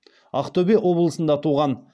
ақтөбе облысында туған